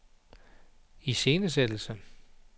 iscenesættelse